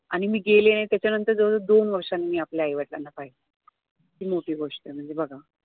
आणि मी गेले नाही त्याच्यानंतर मी जवळ जवळ दोन वर्षांनी आपल्या आई वडिलांना पाहिलं किती मोठी गोष्ट आहे म्हणजे बघा